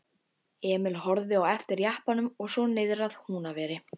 Emil horfði á eftir jeppanum og svo niðrað Húnaveri.